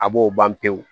A b'o ban pewu